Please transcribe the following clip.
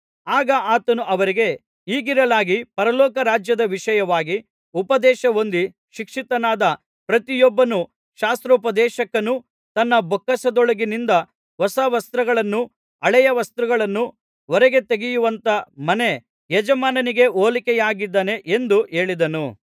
ಆಗ ಆತನು ಅವರಿಗೆ ಹೀಗಿರಲಾಗಿ ಪರಲೋಕ ರಾಜ್ಯದ ವಿಷಯವಾಗಿ ಉಪದೇಶಹೊಂದಿ ಶಿಕ್ಷಿತನಾದ ಪ್ರತಿಯೊಬ್ಬ ಶಾಸ್ತ್ರೋಪದೇಶಕನು ತನ್ನ ಬೊಕ್ಕಸದೊಳಗಿನಿಂದ ಹೊಸ ವಸ್ತುಗಳನ್ನೂ ಹಳೆಯ ವಸ್ತುಗಳನ್ನೂ ಹೊರಗೆ ತೆಗೆಯುವಂಥ ಮನೆ ಯಜಮಾನನಿಗೆ ಹೋಲಿಕೆಯಾಗಿದ್ದಾನೆ ಎಂದು ಹೇಳಿದನು